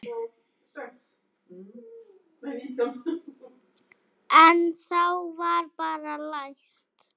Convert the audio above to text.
En þá var bara læst.